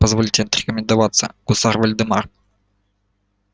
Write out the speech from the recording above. позвольте отрекомендоваться гусар вольдемар